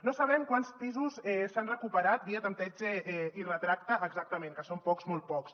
no sabem quants pisos s’han recuperat via tanteig i retracte exactament que són pocs molt pocs